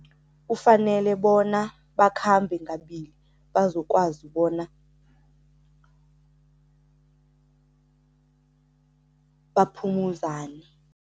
Kufanele bona bakhambe ngabili bazokwazi bona baphumuzane.